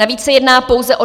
Navíc se jedná pouze o